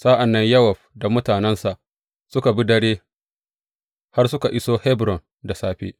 Sa’an nan Yowab da mutanensa suka bi dare har suka iso Hebron da safe.